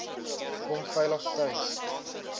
kom veilig tuis